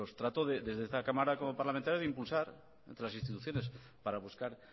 trato desde esta cámara como parlamentario de impulsar a otras instituciones para buscar